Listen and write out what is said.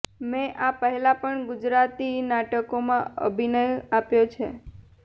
મેં આ પહેલાં પણ ગુજરાતી નાટકોમાં અભિનય આપ્યો છે